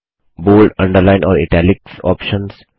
bold underline और italics options